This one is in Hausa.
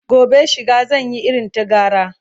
gobe shiga zan Yi irin ta gara